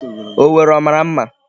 Owerri ọ mara mma?